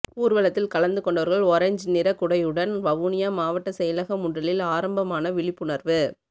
ஊர்வலத்தில் கலந்து கொண்டவர்கள் ஒரேஞ் நிற குடையுடன் வவுனியா மாவட்ட செயலக முன்றலில் ஆரம்பமான விழிப்புணர்வு